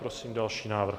Prosím další návrh.